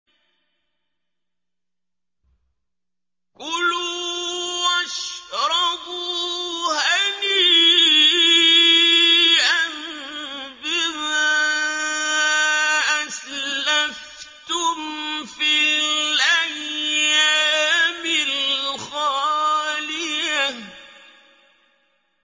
كُلُوا وَاشْرَبُوا هَنِيئًا بِمَا أَسْلَفْتُمْ فِي الْأَيَّامِ الْخَالِيَةِ